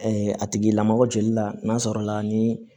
a tigi lamɔgɔ joli la n'a sɔrɔla ni